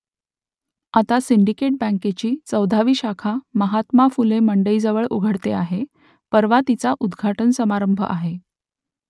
आता सिंडिकेट बँकेची चौदावी शाखा महात्मा फुले मंडईजवळ उघडते आहे , परवा तिचा उद्घाटन समारंभ आहे